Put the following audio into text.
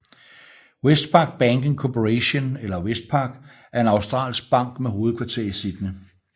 Westpac Banking Corporation eller Westpac er en australsk bank med hovedkvarter i Sydney